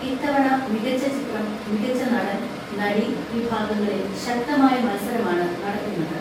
ഇത്തവണ മികച്ച ചിത്രം, മികച്ച നടൻ, നടി വിഭാഗങ്ങളിൽ ശക്തമായ മത്സരമാണ് നടക്കുന്നത്.